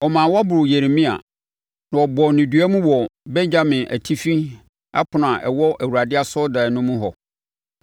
ɔmaa wɔboroo Yeremia, na wɔbɔɔ no dua mu wɔ Benyamin Atifi Ɛpono a ɛwɔ Awurade asɔredan no mu hɔ.